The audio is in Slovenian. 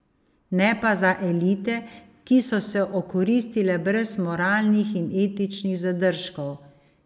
Ne pa za elite, ki so se okoristile brez moralnih in etičnih zadržkov.